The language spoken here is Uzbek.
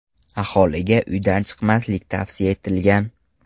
Aholiga uydan chiqmaslik tavsiya etilgan.